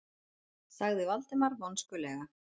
sagði Valdimar vonskulega.